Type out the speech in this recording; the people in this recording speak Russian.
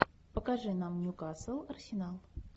покажи нам ньюкасл арсенал